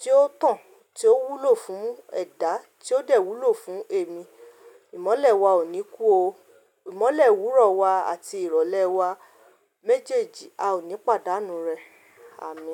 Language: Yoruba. tí ó tàn, tí ó wúlò fún ẹ̀dá, tí ó dè wúlò fún èmi. Ìmọ́lẹ̀ wa ò ní kú o. Ìmọ́lẹ̀ òwúrọ̀ wa àti ìrọ̀lẹ́ wa méjèèjì a ò ní pàdánù rẹ̀, Àmín.